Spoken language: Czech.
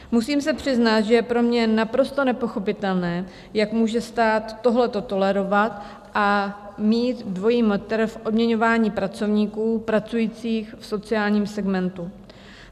Musím se přiznat, že je pro mě naprosto nepochopitelné, jak může stát tohleto tolerovat a mít dvojí metr v odměňování pracovníků pracujících v sociálním segmentu.